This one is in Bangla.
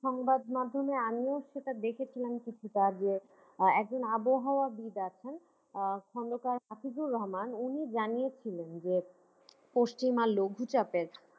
সংবাদ মাধ্যমে আমিও সেটা দেখেছিলাম কিছুটা যে একজন আবহাওয়াবিদ আছেন আহ রহমান উনি জানিয়েছিলেন যে পঞ্চিমা লঘু চাপ এর